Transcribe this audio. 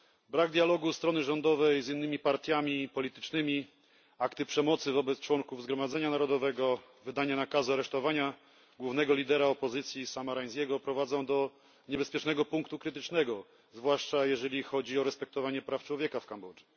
Brak dialogu strony rządowej z innymi partiami politycznymi, akty przemocy wobec członków Zgromadzenia Narodowego, wydanie nakazu aresztowania głównego lidera opozycji Sama Rainsy'ego prowadzą do niebezpiecznego punktu krytycznego, zwłaszcza jeżeli chodzi o respektowanie praw człowieka w Kambodży.